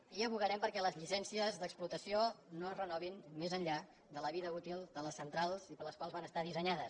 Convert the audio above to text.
i advocarem perquè les llicències d’explotació no es renovin més enllà de la vida útil de les centrals i per a les quals van ser dissenyades